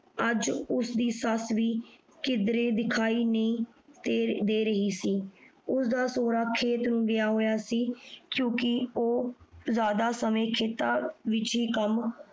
ਅੱਜ ਉਸਦੀ ਸੱਸ ਵੀ ਕਿਧਰੇ ਦਿਖਾਈ ਨਹੀਂ ਦੇ ਦੇ ਨਹੀਂ ਸੀ। ਉਸਦਾ ਸੁਹਰਾ ਖੇਤ ਨੂੰ ਗਿਆ ਹੋਇਆ ਸੀ ਕਿਉਕਿ ਉਹ ਜਿਆਦਾ ਸਮੇਂ ਖੇਤਾਂ ਵਿਚ ਹੀ ਕੰਮ